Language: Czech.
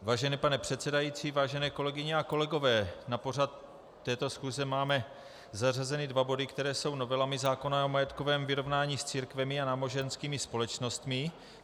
Vážený pane předsedající, vážené kolegyně a kolegové, na pořad této schůze máme zařazeny dva body, které jsou novelami zákona o majetkovém vyrovnání s církvemi a náboženskými společnostmi.